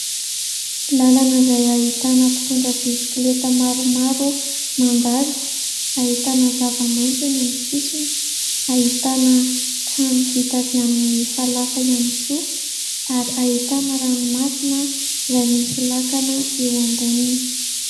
Lalana izay ahitana mpitondra biskileta maromaro mandalo ahitana zavamaintso eny amin'ny sisiny. Ahitana trano vita avy amin'ny falafa ihany koa, ary ahitana ranomasina izay misy lakana eo amboniny.